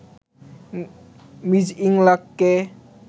Ms ইংলাককে